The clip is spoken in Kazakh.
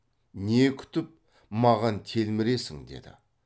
не күтіп маған телміресің деді